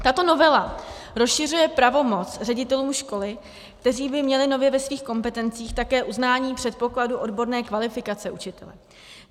Tato novela rozšiřuje pravomoc ředitelů škol, kteří by měli nově ve svých kompetencích také uznání předpokladu odborné kvalifikace učitele.